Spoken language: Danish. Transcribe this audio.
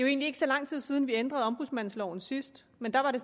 egentlig ikke så lang tid siden vi ændrede ombudsmandsloven sidst men da var det